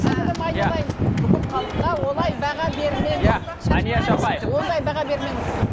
сіңлім айналайын бүкіл халыққа олай баға бермеңіз иә әлияш апай ондай баға бермеңіз